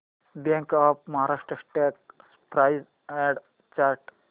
bank of Maharashtra stock price and chart